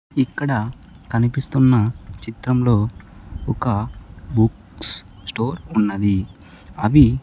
ఇక్కడ కనిపిస్తున్నా చిత్రంలో ఒక బుక్స్ స్టోర్ ఉన్నది అవి --